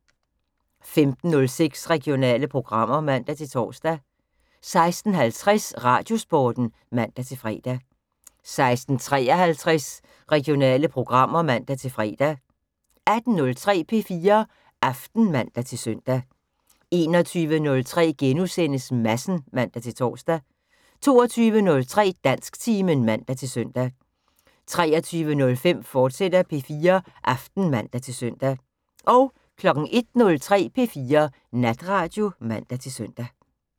15:06: Regionale programmer (man-tor) 16:50: Radiosporten (man-fre) 16:53: Regionale programmer (man-fre) 18:03: P4 Aften (man-søn) 21:03: Madsen *(man-tor) 22:03: Dansktimen (man-søn) 23:05: P4 Aften, fortsat (man-søn) 01:03: P4 Natradio (man-søn)